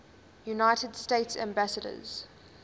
united states ambassadors